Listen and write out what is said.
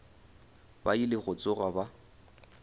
ba ile go tsoga ba